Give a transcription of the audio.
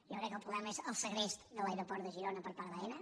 jo crec que el problema és el segrest de l’aeroport de girona per part d’aena